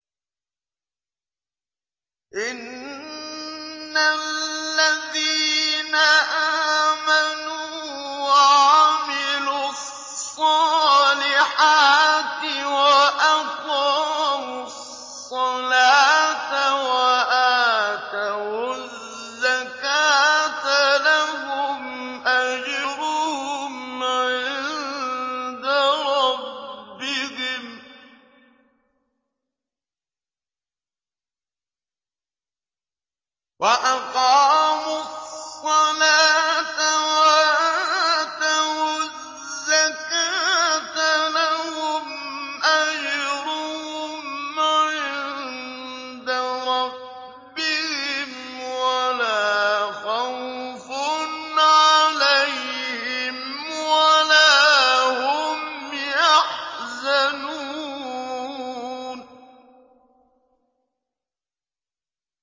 إِنَّ الَّذِينَ آمَنُوا وَعَمِلُوا الصَّالِحَاتِ وَأَقَامُوا الصَّلَاةَ وَآتَوُا الزَّكَاةَ لَهُمْ أَجْرُهُمْ عِندَ رَبِّهِمْ وَلَا خَوْفٌ عَلَيْهِمْ وَلَا هُمْ يَحْزَنُونَ